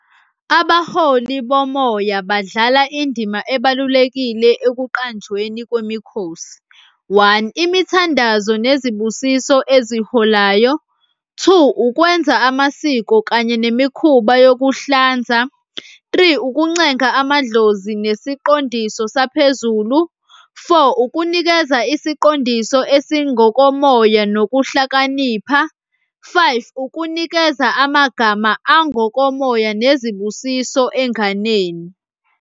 Abaholi bomoya badlala indima ebalulekile ekuqanjweni kwemikhosi, one, imithandazo nezibusiso eziholayo. Two, ukwenza amasiko kanye nemikhuba yokuhlanza. Three, ukuncenga amadlozi nesiqondiso saphezulu. Four, ukunikeza isiqondiso esingokomoya nokuhlakanipha. Five, ukunikeza amagama angokomoya nezibusiso enganeni.